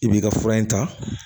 I b'i ka fura in ta